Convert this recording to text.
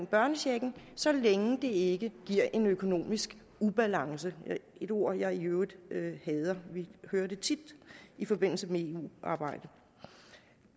børnechecken så længe det ikke giver en økonomisk ubalance et ord jeg i øvrigt hader vi hører det tit i forbindelse med eu arbejdet